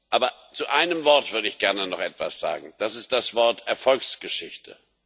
Aber zu einem Wort würde ich gerne noch etwas sagen, das ist das Wort Erfolgsgeschichte.